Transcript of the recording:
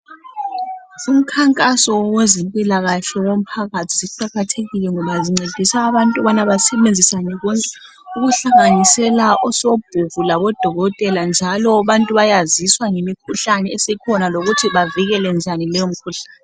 Umkhankaso wezempilakahle womphakathi ziqakathekile ngoba zincedisa abantu bona basebenzisane bonke ukuhlanganisela osobhuku labodokotela njalo abantu bayaziswa ngemikhuhlane esikhona lokuthi bavikele njani leyo mikhuhlani.